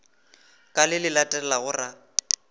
ka le le latelago ra